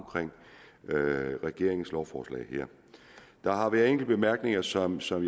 regeringens lovforslag her der har været enkelte bemærkninger som som